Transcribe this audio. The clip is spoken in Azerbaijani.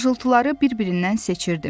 Xışıltıları bir-birindən seçirdi.